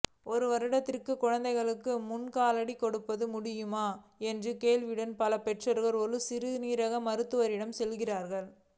ஒரு வருடத்திற்கு குழந்தைகளுக்கு முல்கால்டி கொடுக்க முடியுமா என்ற கேள்வியுடன் பல பெற்றோர்கள் ஒரு சிறுநீரக மருத்துவரிடம் செல்கிறார்கள்